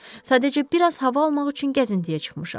Sadəcə biraz hava almaq üçün gəzintiyə çıxmışam.